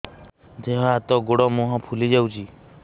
ଦେହ ହାତ ଗୋଡୋ ମୁହଁ ଫୁଲି ଯାଉଛି